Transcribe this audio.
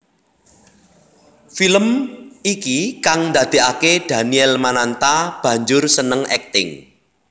Film iki kang ndadèkaké Daniel Mananta banjur seneng akting